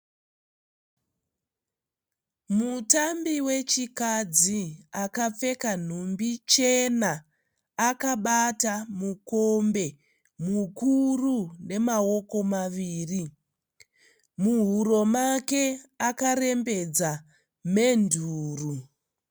Mutambi wechikadzi akapfeka nhumbi chena akabata mukombe mukuru nemawoko maviri. Muhuro make akarembedza menduro.